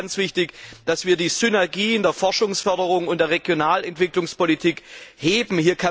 Da ist es ganz wichtig, dass wir die Synergien der Forschungsförderung und Regionalentwicklungspolitik heben.